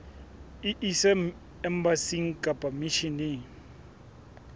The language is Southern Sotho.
e ise embasing kapa misheneng